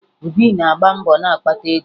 Obi na-agba mbọ na-akpata ego